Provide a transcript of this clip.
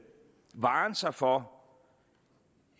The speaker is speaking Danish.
varen sig for